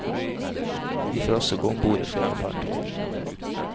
Vi får også gå ombord i flere fartøyer.